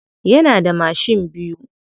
Yana da mashin biyu.